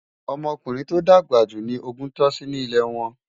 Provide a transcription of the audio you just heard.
ọmọ ọkùnrin tó dàgbà jù ní ògún tosí ní ilè wón